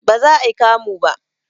Baza ayi kamu ba